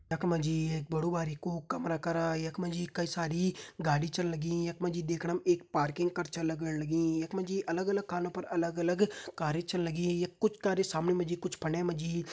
यखमा जी एक बडु बारिकु कमरा करा यखमा जी कई सारी गाडी छन लगीं यखमा जी दिखणम एक पार्किंग कर छन लगण लगीं यखमा जी अलग-अलग खानो पर अलग-अलग कारे छन लगीं यख कुछ कारे सामणे माजी कुछ फणे माजी।